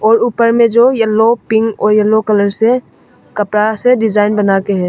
और ऊपर में जो येलो पिंक और येलो कलर से कपड़ा से डिजाइन बनाके है।